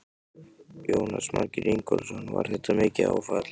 Jónas Margeir Ingólfsson: Var þetta mikið áfall?